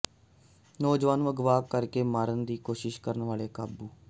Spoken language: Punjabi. ਨੌਜਵਾਨ ਨੂੰ ਅਗਵਾ ਕਰ ਕੇ ਮਾਰਨ ਦੀ ਕੋਸ਼ਿਸ਼ ਕਰਨ ਵਾਲੇ ਕਾਬੂ